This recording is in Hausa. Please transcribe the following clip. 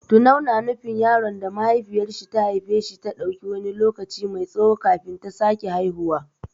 Tunau na nufin yaron da mahaifiyar shi ta ɗauki wani lokaci mai tsawo kafin ta sake haihuwa.